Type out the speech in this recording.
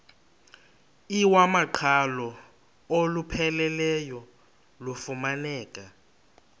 iwamaqhalo olupheleleyo lufumaneka